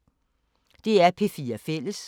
DR P4 Fælles